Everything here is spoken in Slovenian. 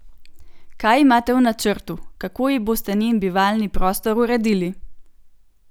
Kaj imate v načrtu, kako ji boste njen bivalni prostor uredili?